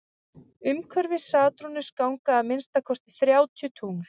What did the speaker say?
umhverfis satúrnus ganga að minnsta kosti þrjátíu tungl